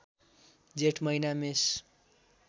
जेठ महिना मेष